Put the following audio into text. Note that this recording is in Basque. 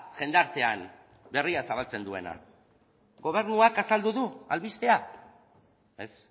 jendartean berria zabaltzen duena gobernuak azaldu du albistea ez